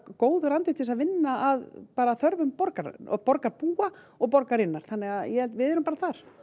góður andi til að vinna að þörfum borgarbúa og borgarbúa og borgarinnar þannig að við erum bara þar